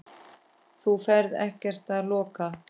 Þú ferð ekkert að loka!